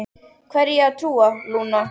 Hverju á ég að trúa, Lúna?